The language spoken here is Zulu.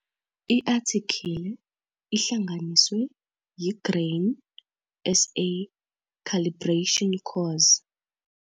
I-Athikhile ihlanganiswe yi-Grain SA Calibration Course.